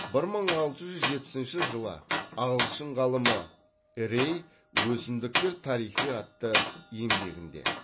бір мың алты жүз жетпісінші жылы ағылшын ғалымы рей өсімдіктер тарихы атты еңбегінде